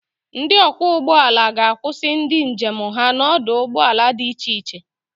Ndị ọkwọ ụgbọ ala ga-akusi ndị njem ha n'ọdụ ụgbọ ala di iche-che.